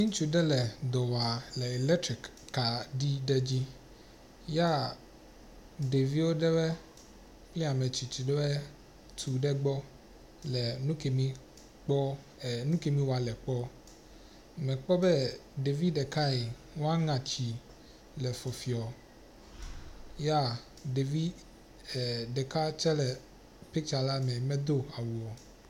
Ŋutsu ɖe le dɔ wɔa le elektrik kaɖi ɖe dzi yaa ɖeviwo ɖewɔe kple ametsitsi ɖewɔe tu ɖe egbɔ le nu kemi kpɔ, e nu kemi wɔa wòle kpɔ. Mekpɔ be ɖevi ɖeka yii woa ŋatsi fɔfiɔ yaa ɖevi eeɖeka tse le picture la me medo awu o.